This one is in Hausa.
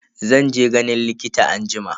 Zan je ganin likita anjima.